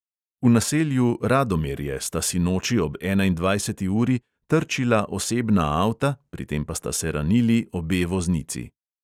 V naselju radomerje sta sinoči ob enaindvajseti uri trčila osebna avta, pri tem pa sta se ranili obe voznici.